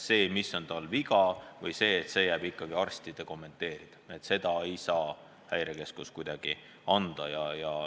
See, mis tal viga on, jääb ikkagi arstide kompetentsi, seda infot ei saa Häirekeskus kuidagi anda.